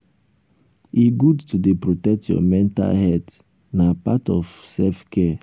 e good to dey protect your mental healt na part of self care.